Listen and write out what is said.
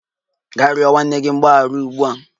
Gaa rịọ nwanne gị mgbaghara ugbu a!